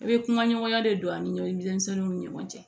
I bɛ kumaɲɔgɔnya de don a' ni ɲɔgɔn cɛ